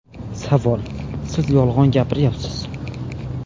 Savol : Siz yolg‘on gapiryapsiz.